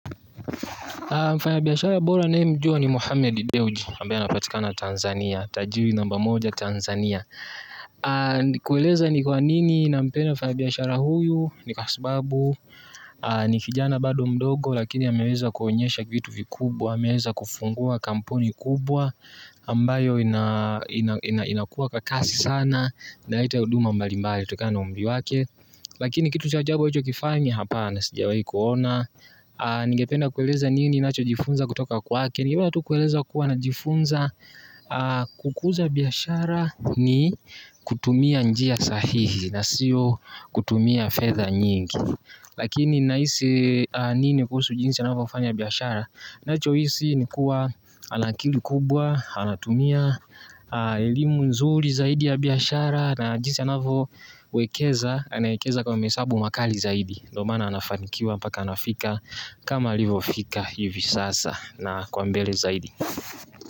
Mfanyabiashara bora ninayemjua ni Mohamed Deoji Ambaye anapatikana Tanzania Tajiri namba moja Tanzania. Kueleza ni kwa nini nampenda mfanyabiashara huyu. Ni kwa sababu ni kijana bado mdogo. Lakini ameweza kuonyesha vitu vikubwa ameweza kufungua kampuni kubwa ambayo inakuwa kwa kasi sana. Ndaita huduma mbalimbali. Tokana na umri wake. Lakini kitu cha ajabu ulichokifanyi hapana sijawahi kuona. Nigependa kueleza nini nacho jifunza kutoka kwake. Nigependa tu kueleza kuwa na jifunza kukuza biyashara ni kutumia njia sahihi na sio kutumia fedha nyingi. Lakini nahisi nini kuhusu jinsi anavyo fanya biyashara. Nacho isi nikua ana akili kubwa, anatumia elimu nzuri zaidi ya biashara. Na jinsi anavyo wekeza, anaekeza kwa mahesabu makali zaidi. Dio mana anafanikiwa paka anafika kama alivo fika hivi sasa na kwa mbele zaidi.